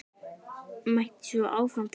Mætti svo áfram telja.